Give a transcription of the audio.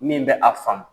Min bɛ a faamu